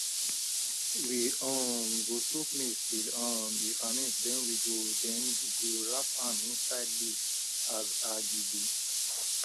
we um go soak maize till um e ferment then we go then we go wrapmam inside leaves as agidi